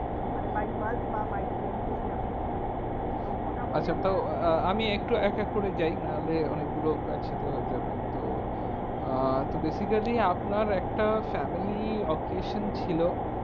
মানে by bus বা by train যদি আপনি যান, তো মোটামুটি, আচ্ছা তো আ~ আমি একটু এক এক করে যাই নাহলে অনেকগুলো একসাথে হয়ে যাবে তো, আহ তো basically আপনার একটা family occasion ছিল,